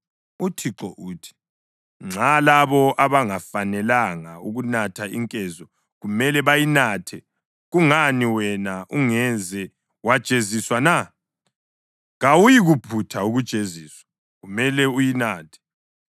UThixo uthi: “Nxa labo abangafanelanga ukunatha inkezo kumele bayinathe, kungani wena ungeze wajeziswa na? Kawuyikuphutha ukujeziswa, kumele uyinathe.